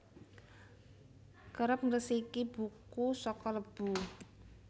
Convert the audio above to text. Kerep ngresiki buku saka lebu